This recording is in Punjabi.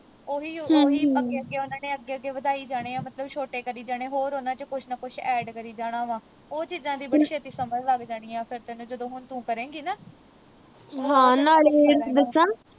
ਓਹੀ ਓਹੀ ਅੱਗੇ ਅੱਗੇ ਉਨ੍ਹਾਂ ਨੇ ਅੱਗੇ ਅੱਗੇ ਵਧਾਈ ਜਾਣੇ ਆ ਮਤਲਬ ਛੋਟੇ ਕਰੀ ਜਾਣੇ ਹੋਰ ਉਨ੍ਹਾਂ ਵਿਚ ਕੁਛ ਨਾ ਕੁਛ add ਕਰੀ ਜਾਣਾ ਵਾ ਉਹ ਚੀਜਾਂ ਦੀ ਬੜੀ ਛੇਤੀ ਸਮਝ ਲੱਗ ਜਾਣੀ ਆ ਫਿਰ ਤੈਨੂੰ ਜਦੋਂ ਹੁਣ ਤੂੰ ਪੜੇਗੀ ਨਾ